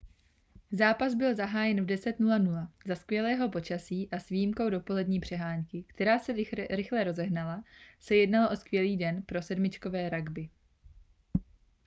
zápas byl zahájen v 10:00 za skvělého počasí a s výjimkou dopolední přeháňky která se rychle rozehnala se jednalo o skvělý den pro sedmičkové rugby